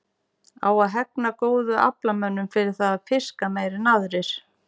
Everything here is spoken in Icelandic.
Á að hegna góðum aflamönnum fyrir það að fiska meira en aðrir?